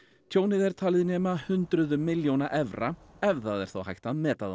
tjónið er talið nema hundruðum milljóna evra ef það er þá hægt að meta það